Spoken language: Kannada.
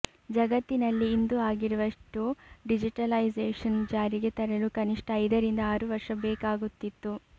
ಜಗತ್ತಿನಲ್ಲಿ ಇಂದು ಆಗಿರುವಷ್ಟು ಡಿಜಿಟಲೈಸೇಷನ್ ಜಾರಿಗೆ ತರಲು ಕನಿಷ್ಟ ಐದರಿಂದ ಆರು ವರ್ಷ ಬೇಕಾಗುತ್ತಿತ್ತು